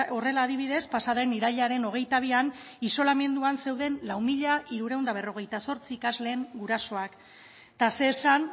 horrela adibidez pasa den irailaren hogeita bian isolamenduan zeuden lau mila hirurehun eta berrogeita zortzi ikasleen gurasoak eta zer esan